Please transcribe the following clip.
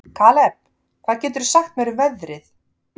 Kaleb, hvað geturðu sagt mér um veðrið?